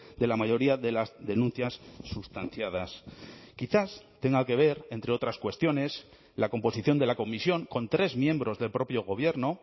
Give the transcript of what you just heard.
de la mayoría de las denuncias sustanciadas quizás tenga que ver entre otras cuestiones la composición de la comisión con tres miembros del propio gobierno